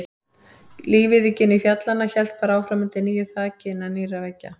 Lífið í gini fjallanna hélt bara áfram undir nýju þaki, innan nýrra veggja.